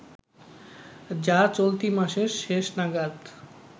যা চলতি মাসের শেষ নাগাদ